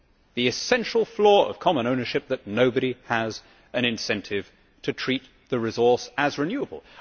The essential flaw of common ownership is that nobody has an incentive to treat the resource as renewable.